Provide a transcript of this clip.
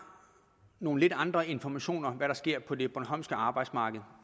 nogle lidt andre informationer om hvad der sker på det bornholmske arbejdsmarked